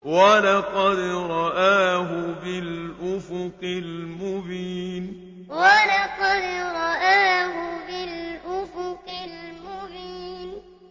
وَلَقَدْ رَآهُ بِالْأُفُقِ الْمُبِينِ وَلَقَدْ رَآهُ بِالْأُفُقِ الْمُبِينِ